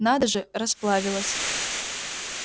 надо же расплавилась